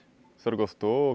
O senhor gostou?